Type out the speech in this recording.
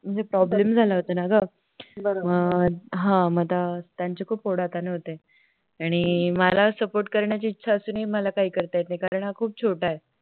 म्हणजे Problem झाला होता ना ग मग आता त्याची खूप ओढा ताण होते आणि मला Support करायची इच्छा असून सुद्धा मला काही करता येत नाही कारण हा खूप छोटा आहे